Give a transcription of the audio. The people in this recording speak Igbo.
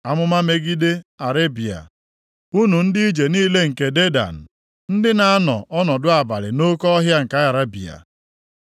Amụma megide Arebịa: Unu ndị ije niile nke Dedan, ndị na-anọ ọnọdụ abalị nʼoke ọhịa nke Arebịa,